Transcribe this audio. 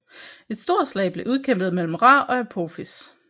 Et stort slag blev udkæmpet mellem Ra og Apophis